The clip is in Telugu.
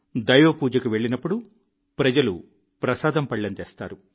దైవ పూజకు వెళ్లినప్పుడు ప్రజలు ప్రసాదం పళ్లెం తెస్తారు